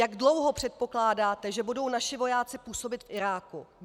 Jak dlouho předpokládáte, že budou naši vojáci působit v Iráku?